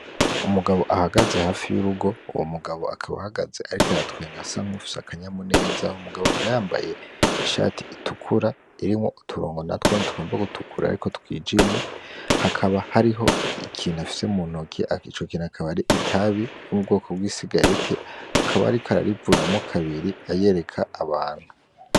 Umugabo ahagaze hafi y'urugo, uwo mugabo akaba ahagaze ariko aratwenga asa nk'uwufise akanyamuneza, uwo mugabo akaba yambaye Ishati itukura irimwo uturongo tugomba gutukura ariko twijimye akaba afise ikintu muntoki Ico kintu akaba ari itabi bw'ubwoko bw isigareti akaba ariko arivunamwo kabiri yereka Abantu.